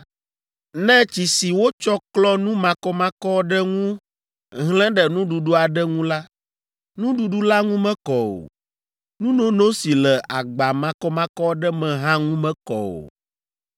Ne tsi si wotsɔ klɔ nu makɔmakɔ aɖe ŋu hlẽ ɖe nuɖuɖu aɖe ŋu la, nuɖuɖu la ŋu mekɔ o. Nunono si le agba makɔmakɔ aɖe me hã ŋu mekɔ o.